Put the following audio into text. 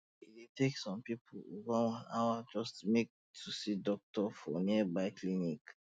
e dey take some people over one hour waka just um to see doctor for nearby clinic